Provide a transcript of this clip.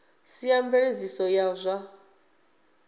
sia a mveledziso ya zwa